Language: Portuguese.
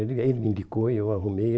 Ele ele me indicou e eu arrumei.